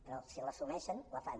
però si l’assumeixen la fan